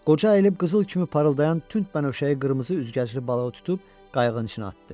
Qoca əyilib qızıl kimi parıldayan tünd bənövşəyi qırmızı üzgəcli balığı tutub qayığın içinə atdı.